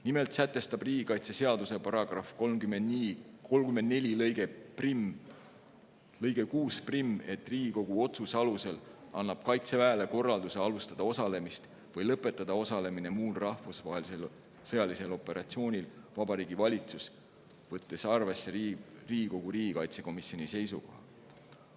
Nimelt sätestab riigikaitseseaduse § 34 lõige 61, et Riigikogu otsuse alusel annab Kaitseväele korralduse alustada osalemist või lõpetada osalemine muul rahvusvahelisel sõjalisel operatsioonil Vabariigi Valitsus, võttes arvesse Riigikogu riigikaitsekomisjoni seisukoha.